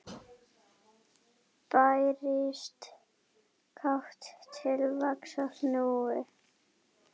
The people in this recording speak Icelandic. Bærist kát til vaxtar snúin.